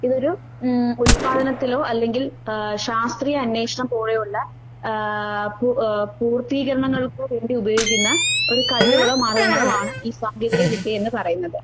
ഇതൊരു ഉം ഉല്പാദനത്തിലോ അല്ലെങ്കിൽ ആഹ് ശാസ്ത്രീയാന്വേഷണം പോലെയൊള്ള ആഹ് പു ഏ പൂർത്തീകരണങ്ങൾക്ക് വേണ്ടിയുപയോഗിക്കുന്ന ഒരു കഴിവുകളോ മാർഗ്ഗങ്ങളോ ആണ് ഈ സാങ്കേതിക വിദ്യയെന്ന് പറയുന്നത്.